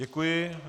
Děkuji.